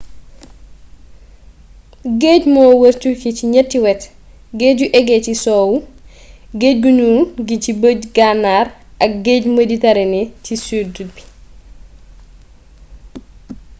géej moo wër turquie ci ñatti wet : géeju égée ci sowwu géej gu ñuul gi ci bëj gànnaar ak géeju méditerranée ci sud bi